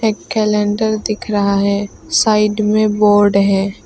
Calendar दिख रहा है साइड में बोर्ड है।